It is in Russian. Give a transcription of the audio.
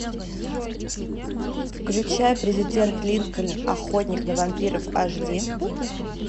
включай президент линкольн охотник на вампиров аш ди